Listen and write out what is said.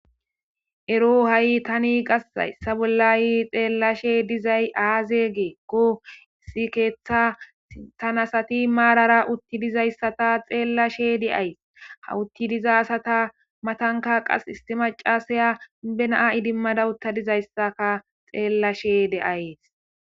Wrong tan ha' qas haysa bolla xelashe dizay qas aze giikon issi ketha sinthan asat marara uti dizaysata marara xelashe de'ays. Ha uti dizaysata matan issi indiya qase na'a idimada uta dizaysakka be'ashe de'ays.